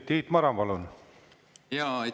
Tiit Maran, palun!